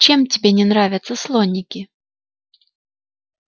чем тебе не нравятся слоники